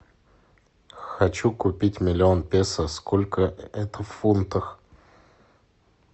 хочу купить миллион песо сколько это в фунтах